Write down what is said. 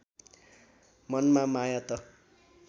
मनमा माया त